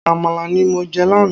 Àmàlà ní mọ je lánàá